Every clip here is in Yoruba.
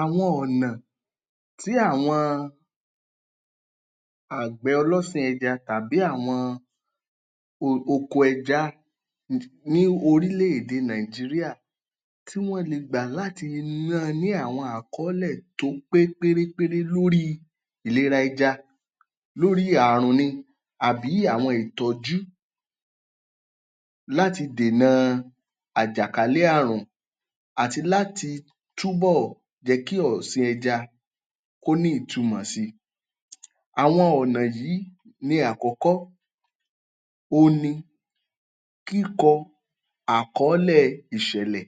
Àwọn ọ̀nà tí àwọn àgbẹ̀ ọlọ́sìn ẹja tàbí àwọn oko ẹja ní orílẹ̀-èdè Nigeria tí wọ́n le gbà láti máa ní àwọn àkọọ́lẹ̀ tó pé pérépéré lórí ìlera ẹja, lórí àrùn ni àbí àwọn ìtọ́jú láti dènà àjàkálẹ̀ àrùn àti láti túbọ̀ jẹ́ kí ọ̀sìn ẹja kó ní ìtumọ̀ si. Àwọn ọ̀nà yí ni àkọ́kọ́ òhun ni kíkọ àkọọ́lẹ̀ ìṣẹ̀lẹ̀.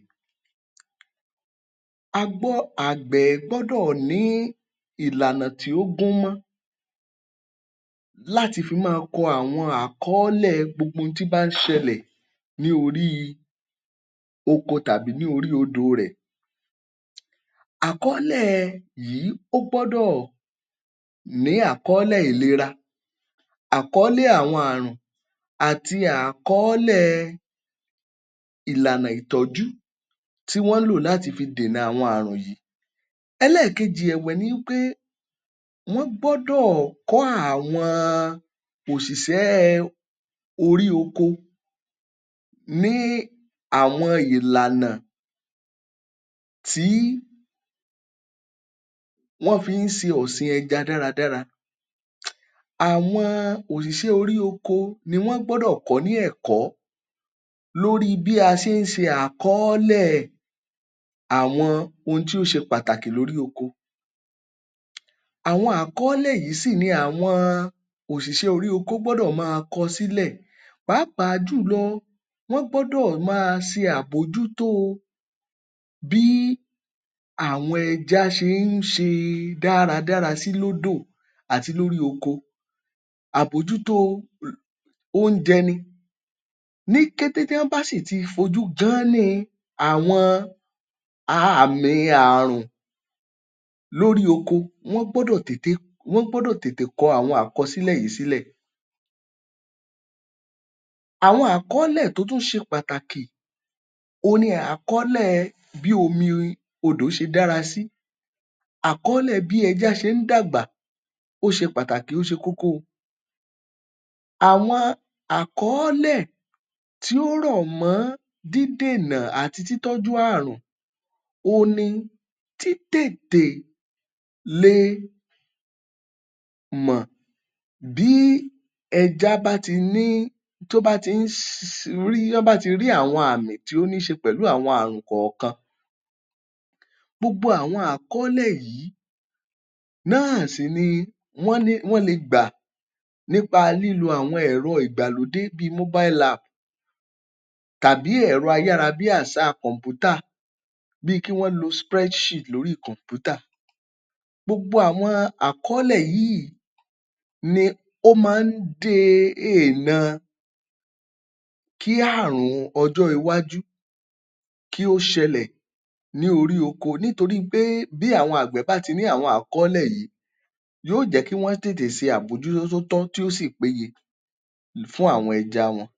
Àgbẹ̀ gbọ́dọ̀ ní ìlànà tí ó gúnmọ́ láti fi máa kọ àwọn àkọọ́lẹ̀ gbogbo un tí bá ń ṣẹlẹ̀ ní orí oko tàbí ní orí odò rẹ̀. Àkọọ́lẹ̀ yìí ó gbọ́dọ̀ ní àkọọ́lẹ̀ ìlera, àkọọ́lẹ̀ àwọn àrùn, àti àkọọ́lẹ̀ ìlànà ìtọ́jú tí wọ́n ń lò láti fi dènà àwọn àrùn yìí. Ẹlẹ́ẹ̀kejì ẹ̀wẹ̀ ni wí pé, wọ́n gbọ́dọ̀ kọ́ àwọn òṣìṣẹ́ orí oko ní àwọn ìlànà tí wọ́n fi ń ṣe ọ̀sìn ẹja dáradára. Àwọn òṣìṣẹ́ orí oko ni wọ́n gbọ́dọ̀ kọ́ ní ẹ̀kọ́ lórí i bí a ṣe ń ṣe àkọọ́lẹ̀ àwọn ohun tí ó ṣe pàtàkì lórí oko. Àwọn àkọọ́lẹ̀ yìí sì ni àwọn òṣìṣẹ́ orí oko gbọ́dọ̀ máa kọ sílẹ̀. Pàápàá jùlọ, wọ́n gbọ́dọ̀ máa ṣe àbójútó bí àwọn ẹja ṣe ń ṣe dáradára sí lódò àti lórí oko, àbójútó o oúnjẹ ni. Ní kété tí ọ́n bá sì ti fojú gán-án-ní àwọn àmì àrùn lórí oko, wọ́n gbọ́dọ̀ tètè kọ àwọn àkọsílẹ̀ yìí sílẹ̀. Àwọn àkọọ́lẹ̀ tó tún ṣe pàtàkì òhun ni àkọọ́lẹ̀ bí omi odò ṣe dára sí, àkọọ́lẹ̀ bí ẹja ṣe ń dàgbà, ó ṣe pàtàkì ó ṣe kókó o. Àwọn àkọọ́lẹ̀ tí ó rọ̀ mọ́ dídènà àti títọ́jú àrùn òhun ni títètè le mọ̀ bí ẹja bá ti ní, tó bá ti rí àwọn àmì tó ní ṣe pẹ̀lú àwọn àrùn kọ̀ọ̀kan. Gbogbo àwọn àkọọ́lẹ̀ yìí náà sì ni wọn le gbà nípa lílo àwọn ẹ̀rọ ìgbàlódé bíi mobile app tàbí ẹ̀rọ a-yára-bí-àṣá kọ̀m̀pútà bíi kí wọ́n lo spreadsheet lórí kọ̀m̀pútà. Gbogbo àwọn àkọọ́lẹ̀ yíì ni ó máa ń dènà kí àrùn ọjọ́ iwájú kí ó ṣẹlẹ̀ ní orí oko, nítorí pé bí àwọn àgbẹ̀ bá ti ní àwọn àkọọ́lẹ̀ yìí yóò jẹ́ kí wọ́n tètè ṣe àbójútó tí ó tọ́ tí ó sì péye fún àwọn ẹja wọn.